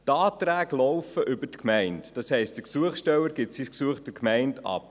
Die Anträge laufen über die Gemeinde, das heisst, der Gesuchsteller gibt sein Gesuch der Gemeinde ab.